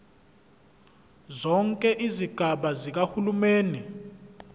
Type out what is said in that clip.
zonke izigaba zikahulumeni